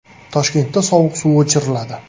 Toshkentda sovuq suv o‘chiriladi.